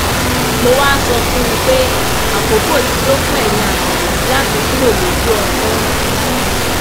mo wáá sọ fún un pé àkókò ti tó fún eyín àgbà yìí láti kúrò lójú ọpọn